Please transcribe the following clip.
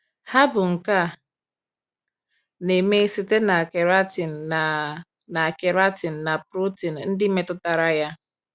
Ha bụ nke a na - eme site na keratin na na keratin na protein ndị metụtara ya.